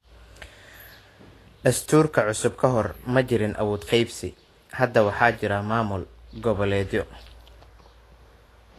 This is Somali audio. Dastuurka cusub ka hor, ma jirin awood qaybsi. Hadda waxaa jira maamul goboleedyo.